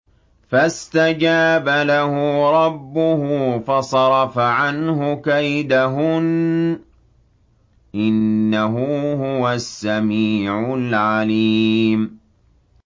فَاسْتَجَابَ لَهُ رَبُّهُ فَصَرَفَ عَنْهُ كَيْدَهُنَّ ۚ إِنَّهُ هُوَ السَّمِيعُ الْعَلِيمُ